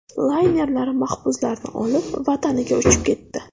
Laynerlar mahbuslarni olib, vataniga uchib ketdi.